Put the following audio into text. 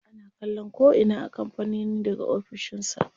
Ana kallon ko'ina a kampanin daga ofishin sa.